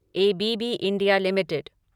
A B B India limited